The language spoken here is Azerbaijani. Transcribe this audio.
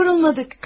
Heç yorulmadıq.